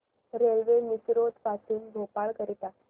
railway Misrod पासून भोपाळ करीता